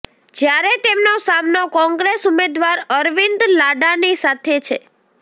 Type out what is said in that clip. જ્યારે તેમનો સામનો કોંગ્રેસ ઉમેદવાર અરવિંદ લાડાની સાથે છે